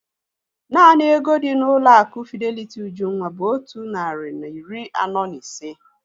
Naanị ego dị n'ụlọ akụ Fideliti Ujunwa bụ otu narị na iri anọ na ise